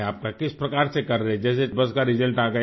کس طرح سے کر رہے ہیں؟ جیسے بس کا ریزلٹ آگیا